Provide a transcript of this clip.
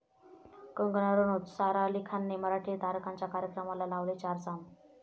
कंगना रणौत, सारा अली खानने मराठी तारकांच्या कार्यक्रमाला लावले चार चाँद